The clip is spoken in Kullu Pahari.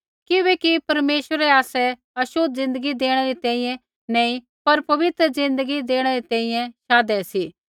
किबैकि परमेश्वरै आसै छ़ोतली ज़िन्दगी देणै री तैंईंयैं नैंई पर पवित्र ज़िन्दगी देणै री तैंईंयैं शाधै सी